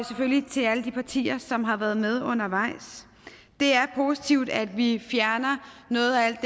selvfølgelig til alle de partier som har været med undervejs det er positivt at vi fjerner noget af alt